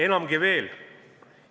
Enamgi veel!